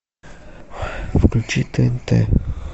включи тнт